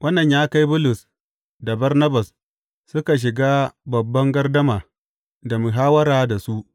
Wannan ya kai Bulus da Barnabas suka shiga babban gardama da muhawwara da su.